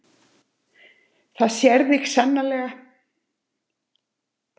Það sér þig sannarlega.